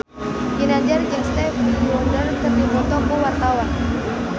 Ginanjar jeung Stevie Wonder keur dipoto ku wartawan